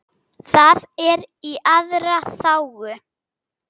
Það er í allra þágu.